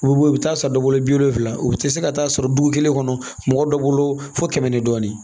U bɛ bɔ u bɛ taa san dɔ bolo bi wolonfila u bɛ tɛ se ka taa sɔrɔ dugu kelen kɔnɔ mɔgɔ dɔ bolo fo kɛmɛ ni dɔɔnin